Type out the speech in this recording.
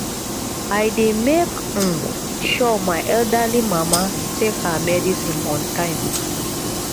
i dey make um sure my elderly mama take her medicine on time